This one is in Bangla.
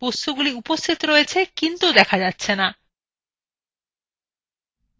বস্তুগুলি উপস্থিত রয়েছে কিন্তু দেখা যাচ্ছে the